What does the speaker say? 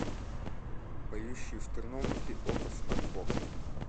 поющие в терновнике окко смарт бокс